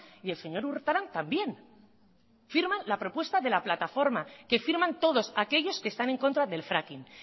y el señor urtaran también firman la propuesta de la plataforma que firman todos aquellos que están en contra del fracking